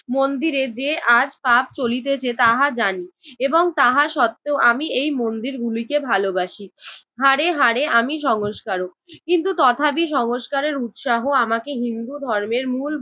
মন্দিরে যে আজ পাপ চলিতেছে তাহা জানি এবং তাহা সত্ত্বেও আমি এই মন্দিরগুলিকে ভালোবাসি। হাড়ে হাড়ে আমি সংস্কারক কিন্তু তথাপি সংস্কারের উৎসাহ আমাকে হিন্দু ধর্মের মূল